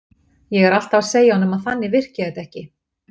Ég er alltaf að segja honum að þannig virki þetta ekki.